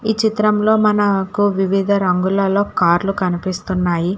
ఈ చిత్రంలో మనాకు వివిధ రంగులలో కార్లు కనిపిస్తున్నాయి.